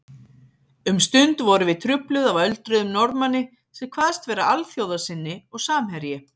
Um stund vorum við trufluð af öldruðum Norðmanni sem kvaðst vera alþjóðasinni og samherji